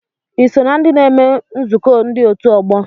Ị na ndị na-eme nzukọ ndị otu ọgbọ?